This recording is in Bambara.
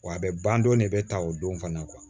Wa a bɛ ban don de bɛ ta o don fana